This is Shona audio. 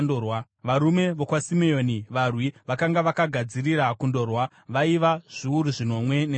varume vokwaSimeoni, varwi vakanga vakagadzirira kundorwa vaiva zviuru zvinomwe nezana;